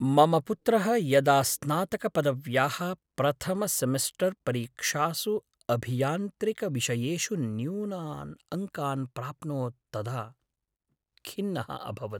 मम पुत्रः यदा स्नातकपदव्याः प्रथमसेमिस्टर्परीक्षासु अभियान्त्रिकविषयेषु न्यूनान् अङ्कान् प्राप्नोत् तदा खिन्नः अभवत्।